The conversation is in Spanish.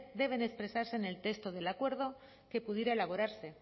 deben expresarse en el texto del acuerdo que pudiera elaborarse